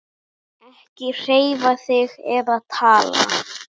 Ekki hreyfa þig eða tala.